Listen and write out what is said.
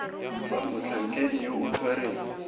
fa motlhankedi yo o tshwereng